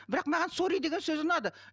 бірақ маған сорри деген сөзі ұнады